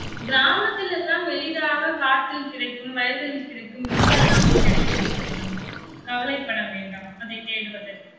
கிராமத்துல எல்லாம் எளிதாக காட்டில் கிடைக்கும், வயலில் கிடைக்கும், எங்கெல்லாமும் கிடைக்கும் இவை வந்து கவலைப்பட வேண்டாம் அதை தேடுவதற்கு.